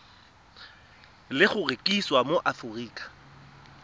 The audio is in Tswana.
le go rekisiwa mo aforika